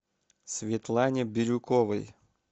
светлане бирюковой